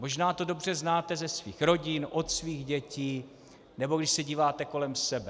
Možná to dobře znáte ze svých rodin od svých dětí, nebo když se díváte kolem sebe.